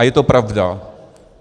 A je to pravda.